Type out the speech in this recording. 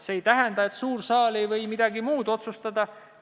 See aga ei tähenda, et suur saal ei võiks midagi muud otsustada.